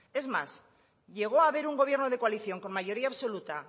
es más llegó a haber un gobierno de coalición con mayoría absoluta